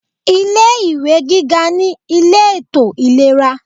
Ilé ìwé gíga ní ilé ètò ìlera.